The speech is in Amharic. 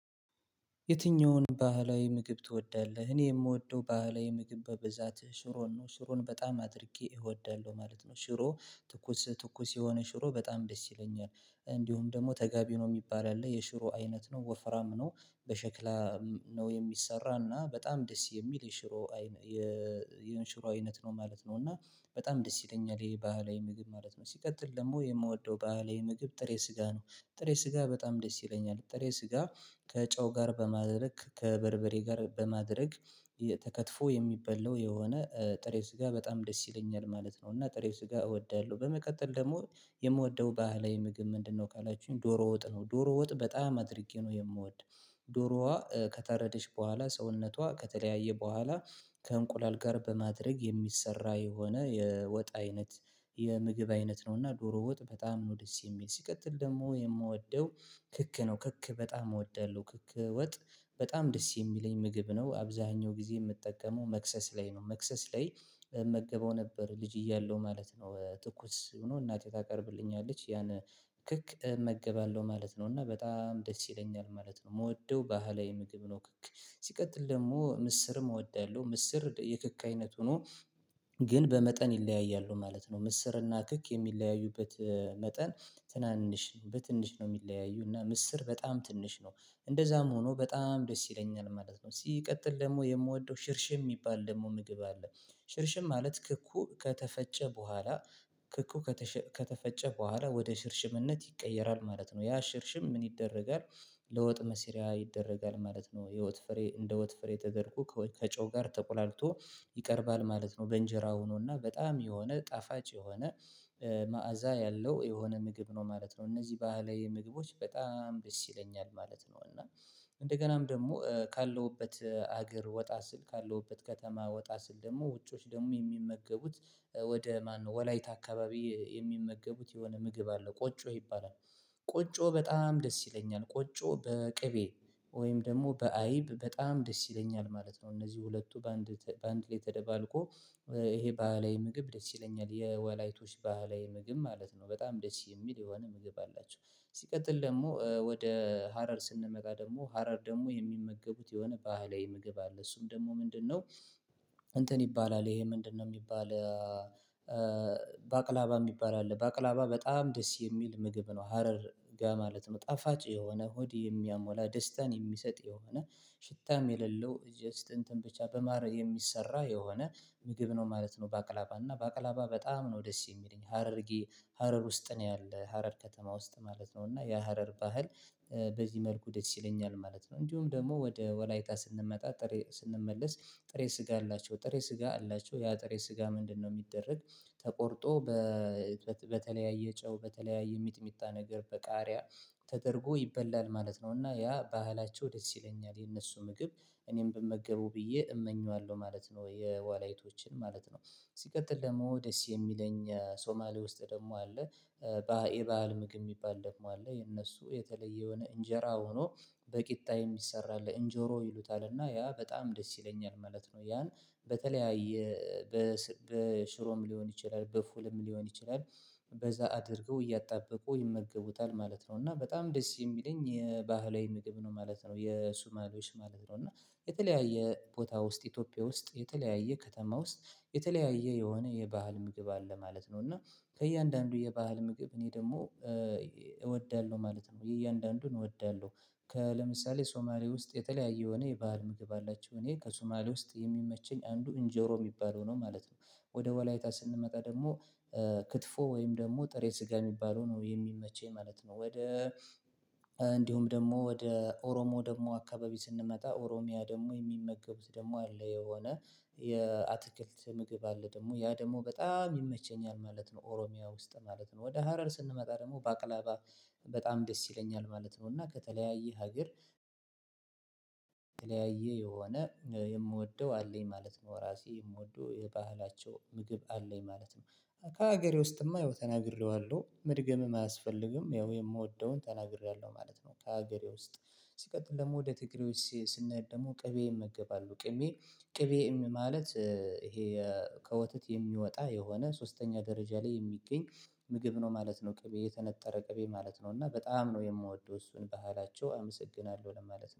የትኛውን ባህላዊ ምግብ ትወዳለህ? እኔ የምወደው ባህላዊ ምግብ በብዛት ሽሮን ነው። ሽሮን በጣም አድርጌ እወዳለሁ ማለት ነው። ሽሮ ትኩስ ትኩስ የሆነ ሽሮ በጣም ደስ ይለኛል። እንዲሁም ደግሞ ተጋቢኖ የሚባል ያለ የሽሮ አይነት ነው። ወፍራም ነው። በሸክላ ነው የሚሰራና በጣም ደስ የሚል የሽሮ አይነት ነው ማለት ነው። እና በጣም ደስ ይለኛል ይሄ ባህላዊ ምግብ ማለት ነው። ሲቀጥል ደግሞ የምወደው ባህላዊ ምግብ ጥሬ ስጋ ነው። ጥሬ ስጋ በጣም ደስ ይለኛል። ጥሬ ስጋ ከጨው ጋር በማድረግ ከበርበሬ ጋር በማድረግ ተከትፎ የሚበላው የሆነ ጥሬ ስጋ በጣም ደስ ይለኛል ማለት ነው። እና ጥሬው ስጋ እወዳለሁ። በመቀጠል ደግሞ የምወደው ባህላዊ ምግብ ምንድነው ካላችሁኝ ዶሮ ወጥ ነው። ዶሮ ወጥ በጣም አድርጌ ነው የምወድ፤ ዶሮዋ ከታረደች በኋላ ሰውነቷ ከተለያየ በኋላ ከእንቁላል ጋር በማድረግ የሚሰራ የሆነ የወጥ አይነት የምግብ አይነት ነው እና ዶሮ ወጥ በጣም ነው ደስ የሚል። ሲቀጥል ደግሞ የምወደው ክክ ነው። ክክ በጣም እወዳለሁ፤ ክክ ወጥ በጣም ደስ የሚለኝ ምግብ ነው። አብዛኛው ጊዜ የምጠቀመው መክሰስ ላይ ነው። መክሰስ ላይ እመገበው ነበር ልጅ እያለው ማለት ነው። ትኩስ ሆኖ እናቴ ታቀርብልኛለች ያን ክክ እመገባለሁ ማለት ነው። እና በጣም ደስ ይለኛል ማለት ነው። የምወደው ባህላዊ ምግብ ነው ክክ። ሲቀጥል ደግሞ ምስርም እወዳለሁ። ምስር የክክ አይነት ሆኖ ግን በመጠን ይለያያሉ ማለት ነው። ምስርና ክክ የሚለያዩበት መጠን ትናንሽ በትንሽ ነው የሚለያዩ እና ምስር በጣም ትንሽ ነው። እንደዛም ሆኖ በጣም ደስ ይለኛል ማለት ነው። ሲቀጥል ደግሞ የምወደው ሽርሽም የሚባል ደግሞ ምግብ አለ። ሽርሽም ማለት ክኩ ከተፈጨ በኋላ ክኩ ከተፈ ከተፈጨ በኋላ ወደ ሽርሽምነት ይቀየራል ማለት ነው። ያ ሽርሽም ምን ይደረጋል ለወጥ መስሪያ ይደረጋል ማለት ነው። የወት ፍሬ እንደ ወት ፍሬ ተደርጎ ከጨው ጋር ተቆላልቶ ይቀርባል ማለት ነው። በእንጀራ ሆኖና በጣም የሆነ ጣፋጭ የሆነ መዓዛ ያለው የሆነ ምግብ ነው ማለት ነው እነዚህ ባህላዊ ምግቦች በጣም ደስ ይለኛል ማለት ነው እና እንደገናም ደግሞ ካለሁበት አገር ወጣ ስል ካለሁበት ከተማ ወጣ ስል ደግሞ ውጮች ደግሞ የሚመገቡት ወደ ማነው ወላይታ አካባቢ የሚመገቡት የሆነ ምግብ አለ። ቆጮ ይባላል። ቆጮ በጣም ደስ ይለኛል። ቆጮ በቅቤ ወይም ደግሞ በአይብ በጣም ደስ ይለኛል ማለት ነው። እነዚህ ሁለቱ በአንድ በአንድ ላይ ተደባልቆ ይሄ ባህላዊ ምግብ ደስ ይለኛል። የወላይቶች ባህላዊ ምግብ ማለት ነው። በጣም ደስ የሚል የሆነ ምግብ አላቸው። ሲቀጥል ደግሞ ወደ ሀረር ስንመጣ ደግሞ ሀረር ደግሞ የሚመገቡት የሆነ ባህላዊ ምግብ አለ። እሱም ደግሞ ምንድነው እንትን ይባላል ይሄ ምንድነው የሚባል ባቅላባ የሚባል አለ። ባቅላባ በጣም ደስ የሚል ምግብ ነው ሀረር ጋር ማለት ነው። ጣፋጭ የሆነ ሆድ የሚያሞላ ደስታን የሚሰጥ የሆነ ሽታም የሌለው ጀስት እንትን ብቻ በማረግ የሚሰራ የሆነ ምግብ ነው ማለት ነው ባቅላባ። እና ባቅላባ በጣም ነው ደስ የሚለኝ። ሀረርጌ ሀረር ውስጥ ነው ያለው ሀረር ከተማ ውስጥ ማለት ነው። እና የሀረር ባህል በዚህ መልኩ ደስ ይለኛል ማለት ነው። እንዲሁም ደግሞ ወደ ወላይታ ስንመጣ ጥሬ ስንመለስ ጥሬ ስጋ አላቸው ጥሬ ስጋ አላቸው ያ ጥሬ ስጋ ምንድነው የሚደረግ ተቆርጦ በተለያየ ጨው በተለያየ ሚጥሚጣ ነገር በቃሪያ ተደርጎ ይበላል ማለት ነው። እና ያ ባህላቸው ደስ ይለኛል። የነሱ ምግብ እኔን ብመገቡ ብዬ እመኘዋለሁ ማለት ነው። የወላይቶችን ማለት ነው። ሲቀጥል ደግሞ ደስ የሚለኝ ሶማሌ ውስጥ ደግሞ አለ። ባ የባህል ምግብ የሚባል ደግሞ አለ። የነሱ የተለየ የሆነ እንጀራ ሆኖ በቂጣ የሚሰራ አለ። እንጀሮ ይሉታል እና ያ በጣም ደስ ይለኛል ማለት ነው። ያን በተለያየ በሽሮም ሊሆን ይችላል በፉልም ሊሆን ይችላል በዛ አድርገው እያጣበቁ ይመገቡታል ማለት ነው። እና በጣም ደስ የሚለኝ የባህላዊ ምግብ ነው ማለት ነው የሱማሎች ማለት ነው። እና የተለያየ ቦታ ውስጥ ኢትዮጵያ ውስጥ የተለያየ ከተማ ውስጥ የተለያየ የሆነ የባህል ምግብ አለ ማለት ነው። እና ከእያንዳንዱ የባህል ምግብ እኔ ደግሞ እወዳለሁ ማለት ነው። እያንዳንዱን እወዳለሁ። ለምሳሌ ሶማሌ ውስጥ የተለያየ የሆነ የባህል ምግብ አላቸው። እኔ ከሶማሌ ውስጥ የሚመቸኝ አንዱ እንጀሮ የሚባለው ነው ማለት ነው። ወደ ወላይታ ስንመጣ ደግሞ ክትፎ ወይም ደግሞ ጥሬ ስጋ የሚባለው ነው የሚመቸኝ ማለት ነው። ወደ ደግሞ ወደ ኦሮሞ ደግሞ አካባቢ ስንመጣ ኦሮሚያ ደግሞ የሚመገቡት ደግሞ አለ የሆነ የአትክልት ምግብ አለ ደግሞ ያ ደግሞ በጣም ይመቸኛል ማለት ነው። ኦሮሚያ ውስጥ ማለት ነው። ወደ ሀረር ስንመጣ ደግሞ በቅለባ በጣም ደስ ይለኛል ማለት ነው። እና ከተለያየ ሀገር የሆነ የምወደው አለኝ ማለት ነው። ራሴ የምወደው የባህላቸው ምግብ አለኝ ማለት ነው። ከሀገሬ ውስጥማ ይኸው ተናግሬዋለሁ መድገምም አያስፈልግም ያው የምወደውን ተናግሬያለሁ ማለት ነው። ከሀገሬ ውስጥ ሲቀጥል ደግሞ ወደ ትግሬዎች ስንሄድ ደግሞ ቅቤ ይመገባሉ። ቅቤ ቅቤ ማለት ይሄ ከወተት የሚወጣ የሆነ ሶስተኛ ደረጃ ላይ የሚገኝ ምግብ ነው ማለት ነው። ቅቤ የተነጠረ ቅቤ ማለት ነው። እና በጣም ነው የምወደው እሱን ባህላቸው አመሰግናለሁ ለማለት ነው።